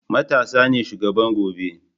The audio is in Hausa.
matasa ne shugaban gobe